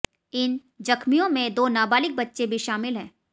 इन जख्मियों में दो नाबालिग बच्चे भी शामिल हैं